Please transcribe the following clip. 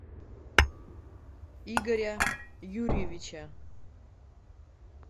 игоря юрьевича